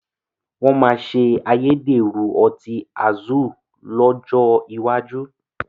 Wọn máa ṣe ayédèrú ọtí Azul lọ́jọ́ iwájú